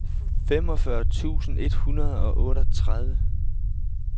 femogfyrre tusind et hundrede og otteogtredive